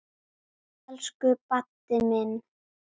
Elsku Baddi minn.